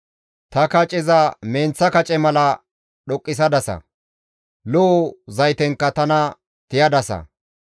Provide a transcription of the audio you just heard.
Ta kaceza menththa kace mala dhoqqisadasa; lo7o zaytenkka tana tiyadasa.